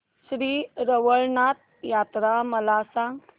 श्री रवळनाथ यात्रा मला सांग